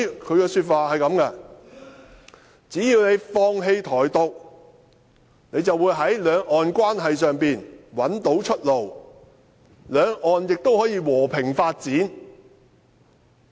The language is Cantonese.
它的說法是："只要你放棄台獨，你便會在兩岸關係上找到出路，兩岸亦可以和平發展。